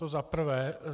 To za prvé.